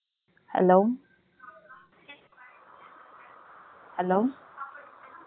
Hello